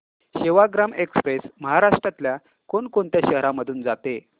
Sevagram express महाराष्ट्रातल्या कोण कोणत्या शहरांमधून जाते